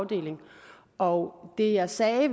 afdeling og det jeg sagde i